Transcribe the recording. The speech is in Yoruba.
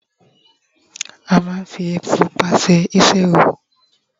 a ma n fi epo pupa se isi ẹwù